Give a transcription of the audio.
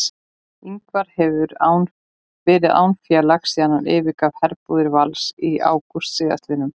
Ingvar hefur verið án félags síðan hann yfirgaf herbúðir Vals í ágúst síðastliðnum.